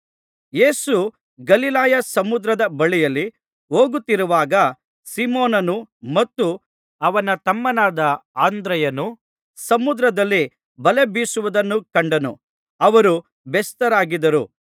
ಯೇಸು ಗಲಿಲಾಯ ಸಮುದ್ರದ ಬಳಿಯಲ್ಲಿ ಹೋಗುತ್ತಿರುವಾಗ ಸೀಮೋನನು ಮತ್ತು ಅವನ ತಮ್ಮನಾದ ಅಂದ್ರೆಯನು ಸಮುದ್ರದಲ್ಲಿ ಬಲೆ ಬೀಸುವುದನ್ನು ಕಂಡನು ಅವರು ಬೆಸ್ತರಾಗಿದ್ದರು